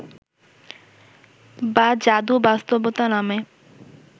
বা যাদু বাস্তবতা নামে